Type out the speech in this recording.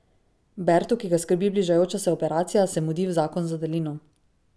Bertu, ki ga skrbi bližajoča se operacija, se mudi v zakon z Adelino.